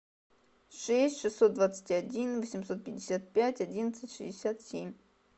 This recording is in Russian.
шесть шестьсот двадцать один восемьсот пятьдесят пять одиннадцать шестьдесят семь